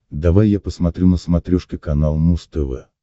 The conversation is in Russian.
давай я посмотрю на смотрешке канал муз тв